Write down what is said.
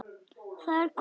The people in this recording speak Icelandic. Það er kona.